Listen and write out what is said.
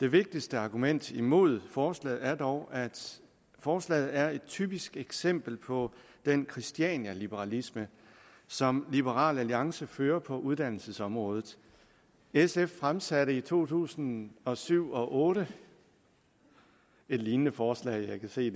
det vigtigste argument imod forslaget er dog at forslaget er et typisk eksempel på den christianialiberalisme som liberal alliance fører på uddannelsesområdet sf fremsatte i folketingsåret to tusind og syv otte et lignende forslag jeg kan se